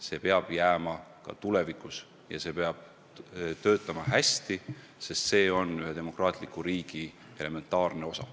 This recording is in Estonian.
See peab jääma ka tulevikus ja see peab töötama hästi, sest see on ühe demokraatliku riigi elementaarne osa.